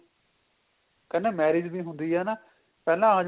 ਕਹਿੰਦੇ marriage ਵੀ ਹੁੰਦੀ ਏ ਨਾ ਪਹਿਲਾਂ ਆਜੋ